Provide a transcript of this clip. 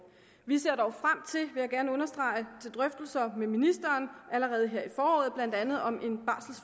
vi ser dog frem til jeg gerne understrege drøftelserne med ministeren allerede her i foråret blandt andet om en